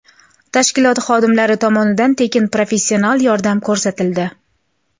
Tashkilot xodimlari tomonidan tekin professional yordam ko‘rsatildi.